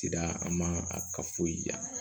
Cida an ma a ka foyi ja